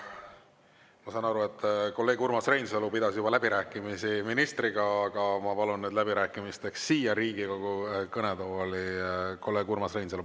Ma saan aru, et kolleeg Urmas Reinsalu pidas juba läbirääkimisi ministriga, aga ma palun nüüd läbirääkimisteks siia Riigikogu kõnetooli kolleeg Urmas Reinsalu.